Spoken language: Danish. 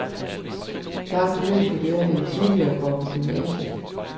Langt flere studerende end tidligere går på gymnasiet.